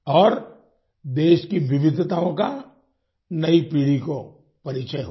और देश की विविधताओं का नयी पीढ़ी को परिचय होगा